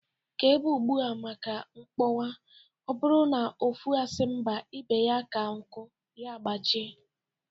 Ka ébé gbuo ma ka ugo kpọkwaa. Ọ bụrụ na ofu asị mba ibe ya ka nku ya gbajie